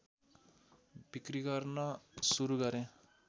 बिक्री गर्न सुरु गरे